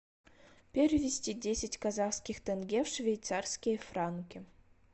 перевести десять казахских тенге в швейцарские франки